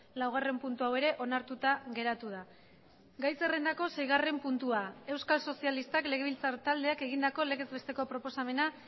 laugarren puntu hau ere onartuta geratu da gai zerrendako seigarren puntua euskal sozialistak legebiltzar taldeak egindako legez besteko proposamena